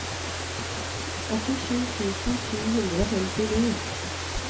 åttisju tusen sju hundre og femtini